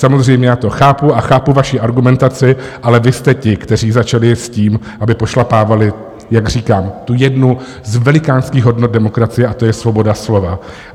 Samozřejmě já to chápu a chápu vaši argumentaci, ale vy jste ti, kteří začali s tím, aby pošlapávali, jak říkám, tu jednu z velikánských hodnot demokracie a to je svoboda slova.